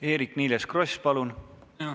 Eerik-Niiles Kross, palun!